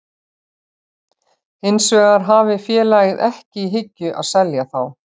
Hins vegar hafi félagið ekki í hyggju að selja þá.